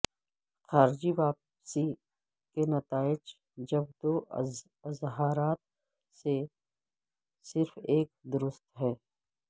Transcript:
خارجی واپسی کے نتائج جب دو اظہارات میں سے صرف ایک درست ہے